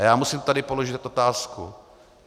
A já musím tady položit otázku.